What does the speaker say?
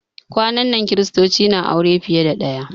Kwanan nan kiristoci na aure fiye da ɗaya